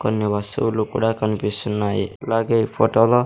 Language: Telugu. కొన్ని వస్తువులు కూడా కనిపిస్తున్నాయి అలాగే ఈ ఫోటో లో --